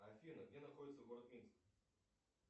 афина где находится город минск